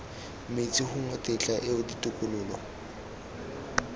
metsi gongwe tetla eo ditokololo